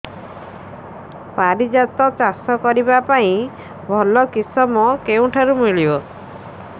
ପାରିଜାତ ଚାଷ କରିବା ପାଇଁ ଭଲ କିଶମ କେଉଁଠାରୁ ମିଳିବ